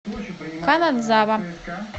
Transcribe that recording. канадзава